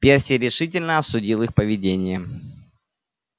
перси решительно осудил их поведение